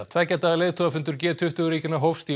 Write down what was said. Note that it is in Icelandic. tveggja daga leiðtogafundur g tuttugu ríkjanna hófst í